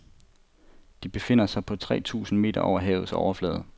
De befinder sig på tre tusind meter over havets overflade.